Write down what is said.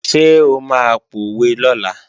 Ṣé o máa pòwe lọ́la?